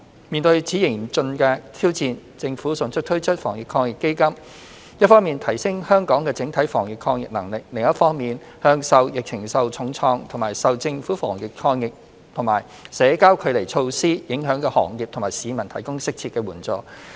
面對此嚴峻的挑戰，政府迅速推出防疫抗疫基金，一方面提升香港的整體防疫抗疫能力，另一方面向受疫情重創或受政府防疫抗疫和社交距離措施影響的行業和市民提供適切的援助。